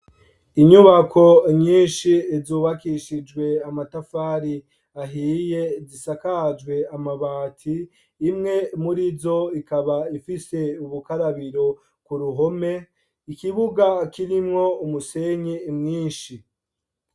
Inyubako nyinshi zubakishijwe amatafari ahiye zisakajwe amabati, imwe murizo ikaba ifise ubukarabiro ku ruhome, ikibuga kirimwo umusenyi mwinshi.